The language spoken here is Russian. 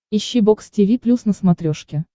ищи бокс тиви плюс на смотрешке